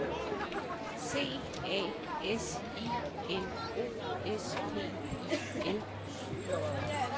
C A S I N O S P I L